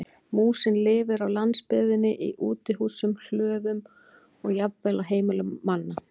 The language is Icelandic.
Músin lifir á landsbyggðinni í útihúsum, hlöðum og jafnvel á heimilum manna.